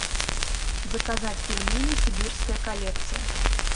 заказать пельмени сибирская коллекция